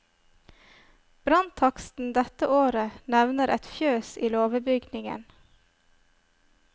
Branntaksten dette året nevner et fjøs i låvebygningen.